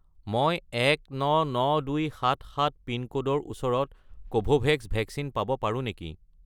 মই 199277 পিনক'ডৰ ওচৰত কোভোভেক্স ভেকচিন পাব পাৰোঁ নেকি?